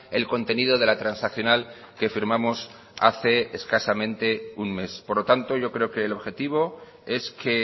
el contenido de la transaccional que firmamos hace escasamente un mes por lo tanto yo creo que el objetivo es que